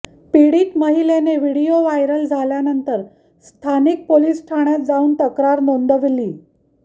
पीडित महिलेने video viral झाल्यानंतर स्थानिक पोलीस ठाण्यात जाऊन तक्रार नोंदवली